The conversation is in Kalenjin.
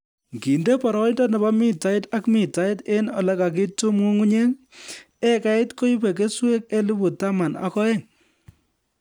Nginde boroindo nebo mitait ak mitait eng olekakitum nyung'unyek, ekait koibe keswek elebu taman ak oeng